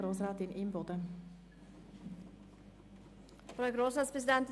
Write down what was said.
Deshalb lehnen wir alle Ziffern ab.